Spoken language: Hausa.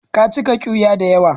Ka cika ƙiwiya da yawa.